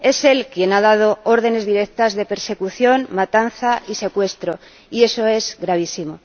es él quien ha dado órdenes directas de persecución, matanza y secuestro, y eso es gravísimo.